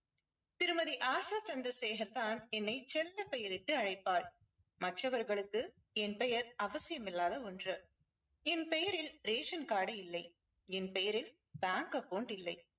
திருமதி ஆஷா சந்திரசேகர் தான் என்னை செல்ல பெயரிட்டு அழைப்பார். மற்றவர்களுக்கு என் பெயர் அவசியமில்லாத ஒன்று. என் பெயரில் ration card இல்லை. என் பெயரில் bank account இல்லை.